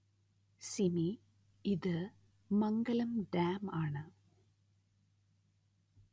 സിമി ഇതു മംഗലം ഡാം ആണ്